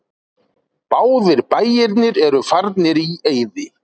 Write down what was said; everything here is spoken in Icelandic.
Báðir bæirnir eru farnir í eyði.